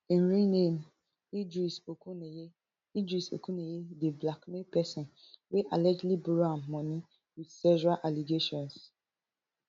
im real name idris okuneye idris okuneye dey blackmail pesin wey allegedly borrow am money wit sexual allegations